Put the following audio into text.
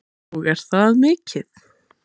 Ingveldur Geirsdóttir: Og er það mikið?